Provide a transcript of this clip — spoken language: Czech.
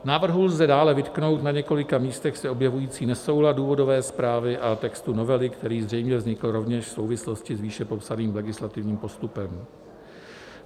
Návrhu lze dále vytknout na několika místech se objevující nesoulad důvodové zprávy a textu novely, který zřejmě vznikl rovněž v souvislosti s výše popsaným legislativním postupem.